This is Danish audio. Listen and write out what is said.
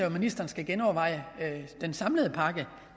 at ministeren skal genoverveje den samlede pakke